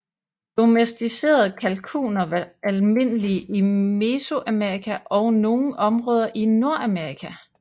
Domesticerede kalkuner var almindelige i Mesoamerika og nogle områder i Nordamerika